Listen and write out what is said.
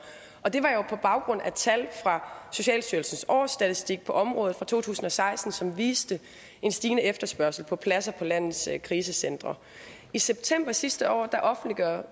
og det var jo på baggrund af tal fra socialstyrelsens årsstatistik på området fra to tusind og seksten som viste en stigende efterspørgsel på pladser på landets krisecentre i september sidste år offentliggjorde